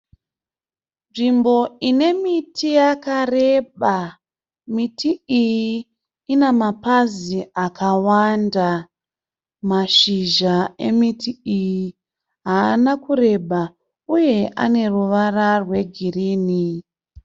Nzvimbo ine miti yakareba. Miti iyi ina mapazi akawanda. Mashizha emiti iyi haana kureba uye ane ruvara rwegirini.